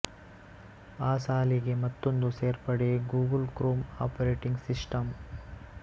ಆ ಸಾಲಿಗೆ ಮತ್ತೊಂದು ಸೇರ್ಪಡೆ ಗೂಗಲ್ ಕ್ರೋಮ್ ಆಪರೇಟಿಂಗ್ ಸಿಸ್ಟಂ